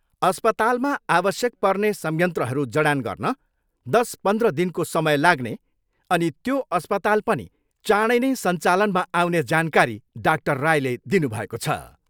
अस्पतालमा आवश्यक पर्ने संयन्त्रहरू जडान गर्न दस पन्ध्र दिनको समय लाग्ने अनि त्यो अस्पताल पनि चाँडै नै सञ्चालनमा आउने जानकारी डाक्टर रायले दिनुभएको छ।